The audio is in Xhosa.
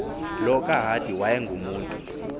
lo kahadi wayengumntu